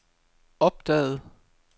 opdagede